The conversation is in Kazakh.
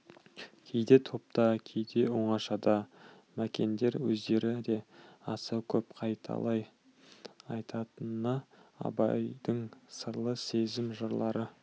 кейде топта кейде оңашада мәкендер өздері де аса көп қайталай айтатыны абайдың сырлы сезім жырлары